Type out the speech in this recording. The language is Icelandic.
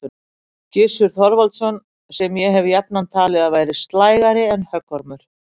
Gissur Þorvaldsson, sem ég hef jafnan talið að væri slægari en höggormur.